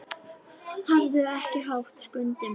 Hafðu ekki hátt, Skundi minn.